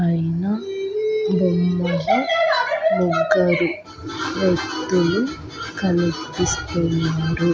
అయినా బొమ్మలో ముగ్గురు వ్యక్తులు కనిపిస్తున్నారు.